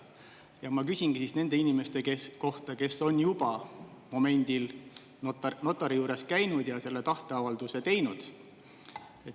Ja ma küsingi siis nende inimeste kohta, kes on juba momendil notari juures käinud ja selle tahteavalduse teinud.